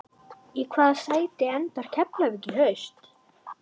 Í hvaða sæti endar Keflavík í haust?